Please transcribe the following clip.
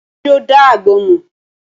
Ṣo dá agbọ́n mọ́?